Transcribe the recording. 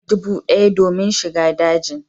Naira dubu d'aya domin shiga dajin